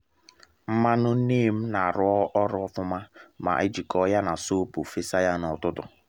nmanụ neem na-arụ ọrụ ofuma ma a jikọọ ya na sọọpụ fesa ya na’ututu